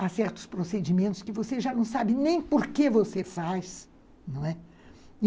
Há certos procedimentos que você já não sabe nem por que você faz.